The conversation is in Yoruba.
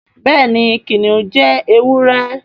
béèni kìnìún jé ewúrẹ́.